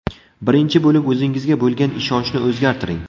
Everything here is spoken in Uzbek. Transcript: Birinchi bo‘lib o‘zingizga bo‘lgan ishonchni o‘zgartiring.